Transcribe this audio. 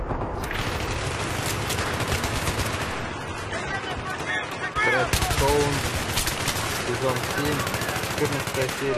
тредстоун сезон семь четырнадцатая серия